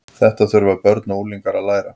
Þetta þurfa börn og unglingar að læra.